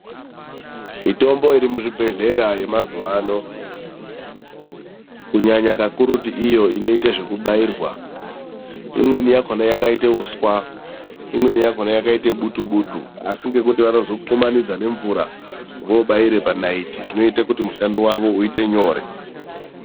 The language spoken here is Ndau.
Mitombo irimuzvibhedhlera yemazuwa ano, kunyanya kakurutu iyo inoite zvekubairwa, imweni yakhona yakaite uswa; imweni yakaite butu-butu; asi ngekuti vanozokumanidza nemvura voobaire panayiti zvinoite kuti mushando wavo uite nyore.